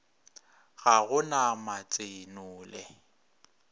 ga go na matse nole